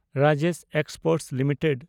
Rajesh exports limited